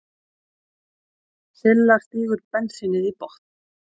Silla stígur bensínið í botn.